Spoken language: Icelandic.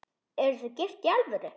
Eruð þið gift í alvöru?